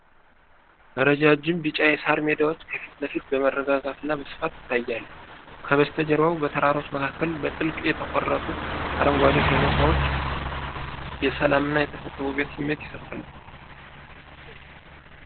ረጃጅም ቢጫ የሳር ሜዳዎች ከፊት ለፊት በመረጋጋትና በስፋት ይታያሉ። ከበስተጀርባ በተራሮች መካከል በጥልቅ የተቆረጡ አረንጓዴ ሸለቆዎች የሰላምና የተፈጥሮ ውበት ስሜት ይሰጣሉ።